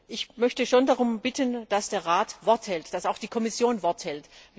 Ich möchte schon darum bitten, dass der Rat Wort hält, dass auch die Kommission Wort hält.